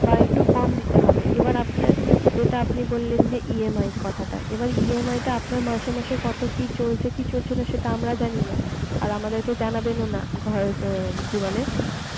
বা একটু কম দিতে হবে এবার আপনার যেটা আপনি বললেন যে EMI এর কথাটা এবার EMI টা আপনার মাস এ মাস এ কত কি চলছে কি চলছেনা সেটা আমরা জানি না আর আমাদের কে জানাবেন ও না ঘর র কি বলে